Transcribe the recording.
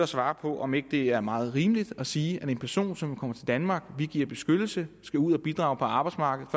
svare på om ikke det er meget rimeligt at sige at en person som kommer til danmark og vi giver beskyttelse skal ud at bidrage på arbejdsmarkedet